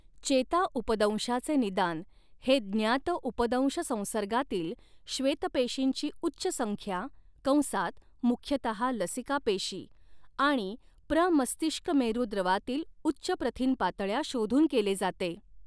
चेताउपदंशाचे निदान हे ज्ञात उपदंश संसर्गातील श्वेतपेशींची उच्च संख्या कंसात मुख्यतः लसीकापेशी आणि प्रमस्तिष्कमेरू द्रवातील उच्च प्रथिन पातळ्या शोधून केले जाते.